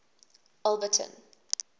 alberton